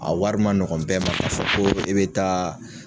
A wari ma nɔgɔ bɛɛ ma k'a fɔ ko e be taa